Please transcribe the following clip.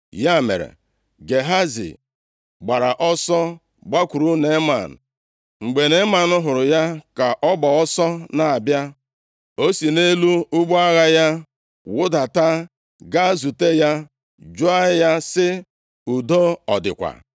Ya mere, Gehazi gbara ọsọ gbakwuru Neeman. Mgbe Neeman hụrụ ya ka ọ gba ọsọ na-abịa, o si nʼelu ụgbọ agha ya wudata gaa zute ya, jụọ ya sị: “Udo ọ dịkwa?”